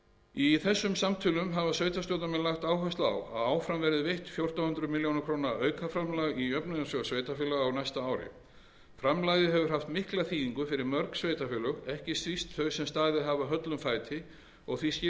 í þessum samtölum hafa sveitarstjórnarmenn lagt áherslu á að áfram verði veitt fjórtán hundruð milljóna króna aukaframlag í jöfnunarsjóð sveitarfélaga á næsta ári framlagið hefur haft mikla þýðingu fyrir mörg sveitarfélög ekki síst þau sem staðið hafa höllum fæti og því skil ég vel